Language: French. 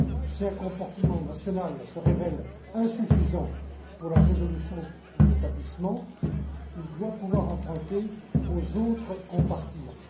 Si un compartiment national se révèle insuffisant pour la résolution d'un établissement, il doit pouvoir emprunter aux autres compartiments.